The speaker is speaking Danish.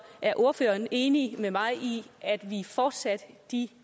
er ordføreren enig med mig i at vi fortsat de